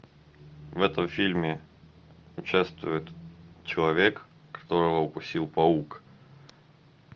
в этом фильме участвует человек которого укусил паук